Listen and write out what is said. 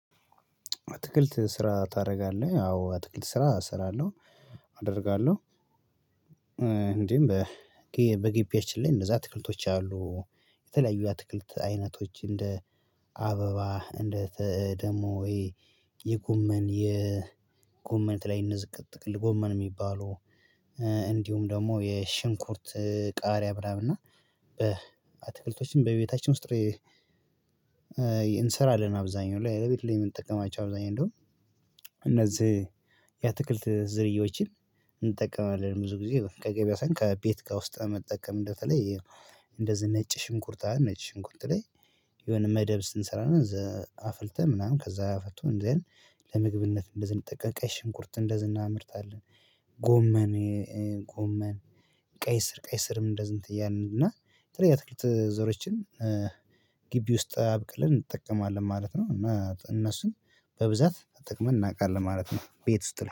አትክልት ስራ ታደርጋለህ አዎ አትክልት ስራ እሰራለሁ አደርጋለሁ። እ እንዴም በ ጊ በግቢያችን ላይ እነዛ አትክልቶች አሉ የተለያዩ የአትክልት አይነቶች እንደ አበባ እንደ ፈኧ ደግሞ ወይ የጎመን የጎመን ላይ እንዝቅ ጥቅል ጎመን የሚባሉ እ እንዲሁም ደግሞ የሽንኩርት ቃሪያ ብላብና በአትክልቶችም በቤታችን ውስጥ። የእንሰራአለን አብዛኛው ላይ ለቤት ላይ የምንጠቀማቸው አብዛኛው እንደውም እነዚህ የአትክልት እ ዝርያዎችን እንጠቀማለን ብዙ ጊዜ ከገበያ ሳሆን ከቤት ጋር ከውስጥ መጠቀም እንደ ተለይ። እንደዚህ ነጭ ሽንኩርት ነጭ ሽንኩርት ላይ የሆነ መደብ ስንሰራ ዘ አፍልተህ ምናምን ከዛ አፍቶ እንደዚህ ለምግብነት እንደዝና ጠቀ ቀይ ሽንኩርት እንደዝ ና ምርትአለ። ጎመን ጎመን ቀይ ስር ቀይ ስርም እንደዚህ እንትያለን እና ትርጉም ትክክለኛ ዘሮችን እ ግቢ ውስጥ አብቅልን እንጠቀማለን ማለት ነው እና እነሱን በብዛት ጥቅም እናቃለን ማለት ነው። ቤት ውስጥ ላይ